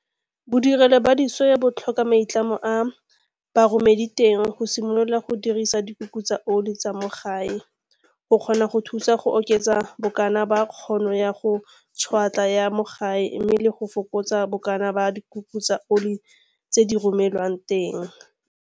Bodirelo ba disoya bo tlhoka maitlamo a baromediteng go simolola go dirisa dikuku tsa oli tsa mo gae go kgona go thusa go oketsa bokana ba kgono ya go tšhwetla ya mo gae mme le go fokotsa bokana ba dikuku tsa oli tse di romelwang teng.